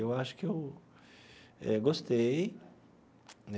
Eu acho que eu eh gostei né.